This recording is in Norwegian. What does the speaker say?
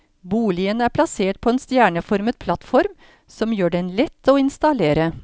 Boligen er plassert på en stjerneformet plattform som gjør den lett å installere.